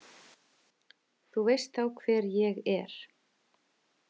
Þú veist þá hver ég er